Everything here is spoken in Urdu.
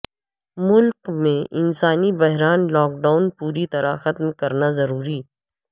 ملک میں انسانی بحران لاک ڈاون پوری طرح ختم کرنا ضروری